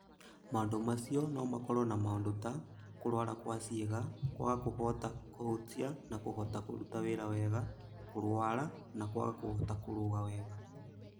Maũndũ macio no makorũo na maũndũ ta: kũrũara kwa ciĩga; kwaga kũhota kũhutia na kũhota kũruta wĩra wega; kũrũara; na kwaga kũhota kũrũga wega.